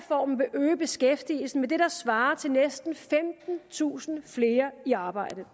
øge beskæftigelsen med det der svarer til næsten femtentusind flere i arbejde